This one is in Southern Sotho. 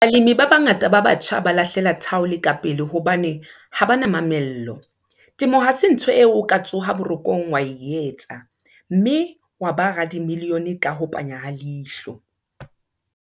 Balemi ba bangata ba batjha ba lahlela thaole kapele hobane ha ba na mamello. Temo ha se ntho eo o ka tsoha borokong, wa e etsa, mme wa ba radimilione ka ho panya ha leihlo.